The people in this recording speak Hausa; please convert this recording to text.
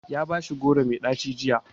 Ya bashi goro mai ɗaci jiya.